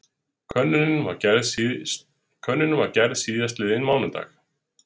Könnunin var gerð síðastliðinn mánudag